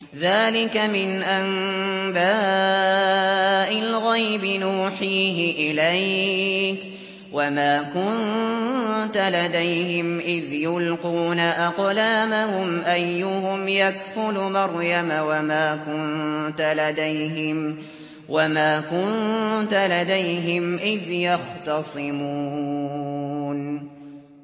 ذَٰلِكَ مِنْ أَنبَاءِ الْغَيْبِ نُوحِيهِ إِلَيْكَ ۚ وَمَا كُنتَ لَدَيْهِمْ إِذْ يُلْقُونَ أَقْلَامَهُمْ أَيُّهُمْ يَكْفُلُ مَرْيَمَ وَمَا كُنتَ لَدَيْهِمْ إِذْ يَخْتَصِمُونَ